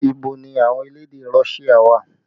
Ibo ni àwọn elédè Russia wà?